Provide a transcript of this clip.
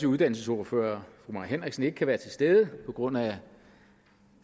uddannelsesordfører fru mai henriksen ikke kan være til stede på grund af